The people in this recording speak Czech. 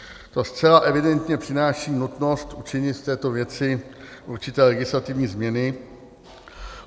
To zcela evidentně přináší nutnost učinit v této věci určité legislativní změny.